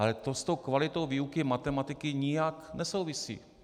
Ale to s tou kvalitou výuky matematiky nijak nesouvisí.